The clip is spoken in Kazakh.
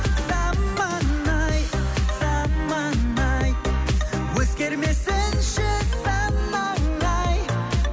заман ай заман ай өзгермесінші санаң ай